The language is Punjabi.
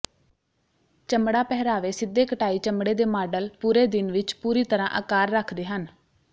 ਚਮੜਾ ਪਹਿਰਾਵੇ ਸਿੱਧੇ ਕਟਾਈ ਚਮੜੇ ਦੇ ਮਾਡਲ ਪੂਰੇ ਦਿਨ ਵਿੱਚ ਪੂਰੀ ਤਰ੍ਹਾਂ ਆਕਾਰ ਰੱਖਦੇ ਹਨ